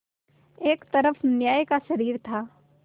एक तरफ न्याय का शरीर था